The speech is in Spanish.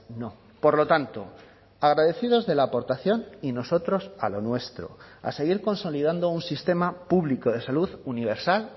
no por lo tanto agradecidos de la aportación y nosotros a lo nuestro a seguir consolidando un sistema público de salud universal